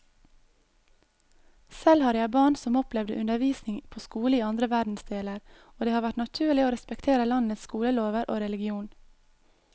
Selv har jeg barn som opplevde undervisning på skole i andre verdensdeler, og det har vært naturlig å respektere landets skolelover og religion.